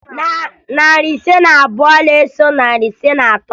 Narị ise na abụọ na-eso narị ise na atọ